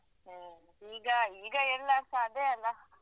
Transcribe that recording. ಹ್ಮ್ ಈಗ ಈಗ ಎಲ್ಲರ್ಸ ಅದೇ ಅಲ್ಲಾ?